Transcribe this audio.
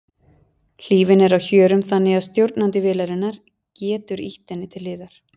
Hlífin er á hjörum þannig að stjórnandi vélarinnar getur ýtt henni til hliðar.